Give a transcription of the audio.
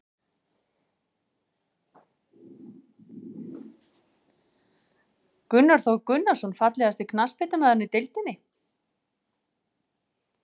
Gunnar Þór Gunnarsson Fallegasti knattspyrnumaðurinn í deildinni?